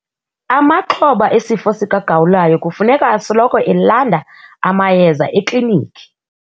Amaxhoba esifo sikagawulayo kufuneka asoloko elanda amayeza eklinikhi.